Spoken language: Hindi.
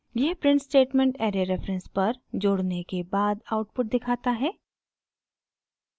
यह प्रिंट स्टेटमेंट ऐरे रेफरेंस पर जोड़ने के बाद आउटपुट दिखाता है